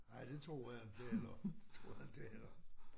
Nej det tror jeg inte heller tror jeg inte heller